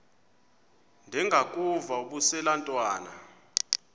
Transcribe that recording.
ndengakuvaubuse laa ntwana